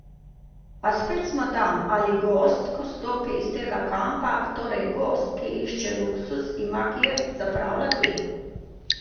A spet smo tam, ali gost, ko stopi iz tega kampa, torej gost, ki išče luksuz, ima kje zapravljati?